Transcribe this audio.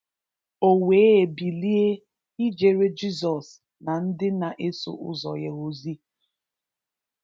O wee bilie ijere Jizọs na ndị na-eso ụzọ ya ozi.